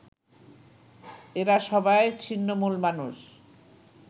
এরা সবাই ছিন্নমূল মানুষ